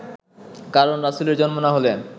কারণ রাসূলের জন্ম না হলে